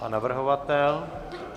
Pan navrhovatel?